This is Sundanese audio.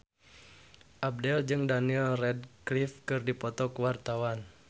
Abdel jeung Daniel Radcliffe keur dipoto ku wartawan